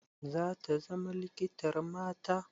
Zata zama likitar mata?